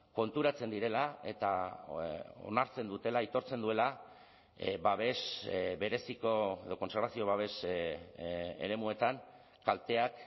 konturatzen direla eta onartzen dutela aitortzen duela babes bereziko edo kontserbazio babes eremuetan kalteak